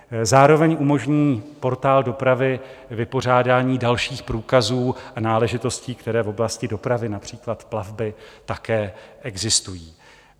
Zároveň umožní portál dopravy vypořádání dalších průkazů a náležitostí, které v oblasti dopravy, například plavby, také existují.